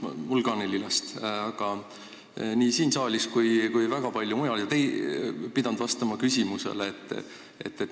Mul on ka neli last, nagu nii mõnelgi siin saalis ja väga paljudel teistel.